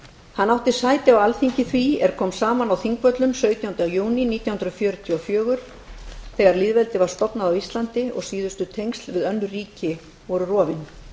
hann átti sæti á alþingi því er kom saman á þingvöllum sautjánda júní nítján hundruð fjörutíu og fjögur þegar lýðveldið var stofnað á íslandi og síðustu tengsl við önnur ríki voru rofin